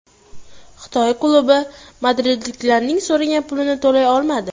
Xitoy klubi madridliklar so‘ragan pulni to‘lay olmadi.